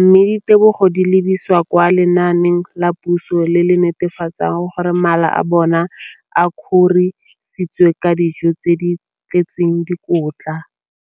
mme ditebogo di lebisiwa kwa lenaaneng la puso le le netefatsang gore mala a bona a kgorisitswe ka dijo tse di tletseng dikotla.